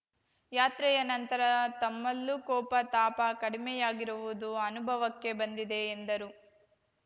ಯಾತ್ರೆಯ ನಂತರ ತಮ್ಮಲ್ಲೂ ಕೋಪ ತಾಪ ಕಡಿಮೆಯಾಗಿರುವುದು ಅನುಭವಕ್ಕೆ ಬಂದಿದೆ ಎಂದರು